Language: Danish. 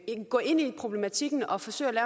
gå ind i problematikken og forsøge at